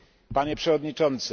Panie Przewodniczący!